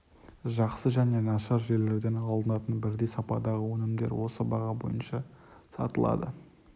жақсы және нашар жерлерден алынатын бірдей сападағы өнімдер осы баға бойынша сатылады